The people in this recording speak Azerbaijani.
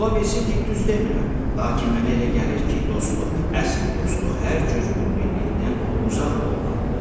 Ola bilsin ki, düz demirəm, lakin mənə elə gəlir ki, dostluq, əsl dostluq hər cür xudbinlikdən uzaq olmalıdır.